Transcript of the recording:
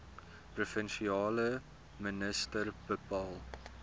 provinsiale minister bepaal